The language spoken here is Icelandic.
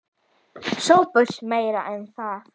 SOPHUS: Meira en það.